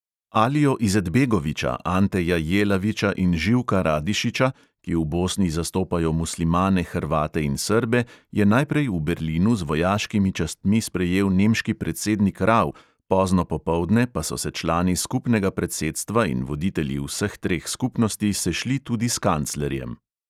Alijo izetbegoviča, anteja jelaviča in živka radišiča, ki v bosni zastopajo muslimane, hrvate in srbe, je najprej v berlinu z vojaškimi častmi sprejel nemški predsednik rau, pozno popoldne pa so se člani skupnega predsedstva in voditelji vseh treh skupnosti sešli tudi s kanclerjem.